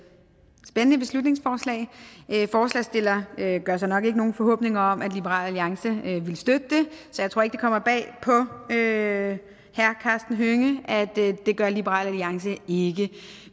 spændende beslutningsforslag forslagsstillerne gør sig nok ikke nogen forhåbninger om at liberal alliance vil støtte det så jeg tror ikke det kommer bag på herre karsten hønge at det gør liberal alliance ikke